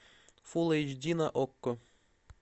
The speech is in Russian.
фулл эйч ди на окко